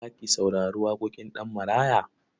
Za ki saurari waƙoƙin Ɗanmaraya?